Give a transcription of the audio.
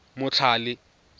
motlhale